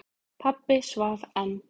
Pabbi svaf enn.